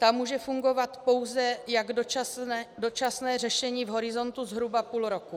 Ta může fungovat pouze jako dočasné řešení v horizontu zhruba půl roku.